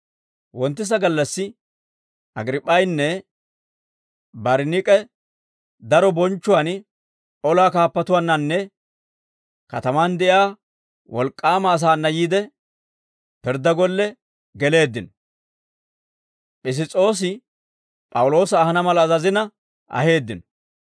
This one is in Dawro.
Wonttisa gallassi, Agriip'p'aynne Bariniik'e daro bonchchuwaan olaa kaappatuwaannanne katamaan de'iyaa wolk'k'aama asaana yiide, pirddaa golle geleeddino; Piss's'oosi P'awuloosa ahana mala azazina aheeddino.